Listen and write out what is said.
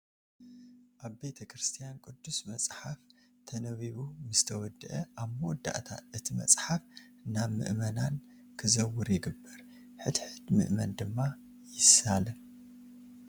ኣብ ቤተ ክርስቲያን ቅዱስ መፃሓፍ ተነቢቡ ምስተወድአ ኣብ መወዳእታ እቲ መፅሓፍ ናብ ምእመናን ክዘውር ይግበር፡፡ ሕድ ሕድ ምእመን ድማ ይሳለሞ፡፡